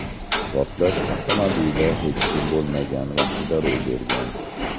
Portlash avtomobilda hech kim bo‘lmagan vaqtda ro‘y bergan.